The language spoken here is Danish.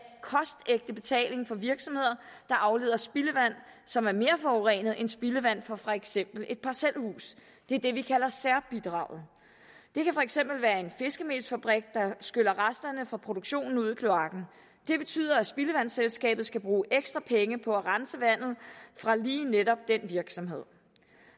kostægte betaling for virksomheder der afleder spildevand som er mere forurenet end spildevand fra for eksempel et parcelhus det er det vi kalder særbidraget det kan for eksempel være en fiskemelsfabrik der skyller resterne fra produktionen ud i kloakken det betyder at spildevandsselskabet skal bruge ekstra penge på at rense vandet fra lige netop den virksomhed